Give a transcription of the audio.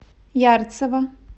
ярцево